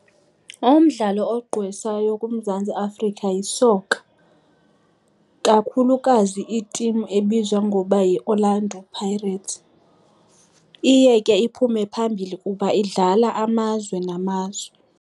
Umdlalo ogqwesayo kuMzantsi Afrika yisoka, kakhulukazi itimu ebizwa ngoba yiOrlando Pirates. Iye ke iphume phambili kuba idlala amazwe namazwe.